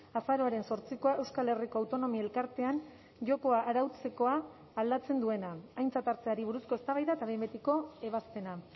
azaroaren zortzikoa euskal herriko autonomi elkartean jokoa arautzekoa aldatzen duena aintzat hartzeari buruzko eztabaida eta behin betiko ebazpena